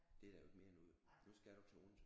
Det er der jo ikke mere nu jo nu skal du til Odense